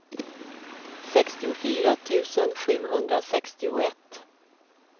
sextiofyra tusen sjuhundrasextioett